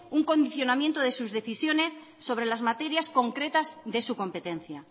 un condicionamiento de sus decisiones sobre las materias concretas de su competencia